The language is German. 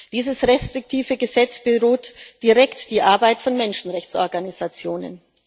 Dieses restriktive Gesetz bedroht direkt die Arbeit von Menschenrechtsorganisationen.